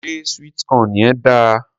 Ṣé sweet corn yẹn dáa?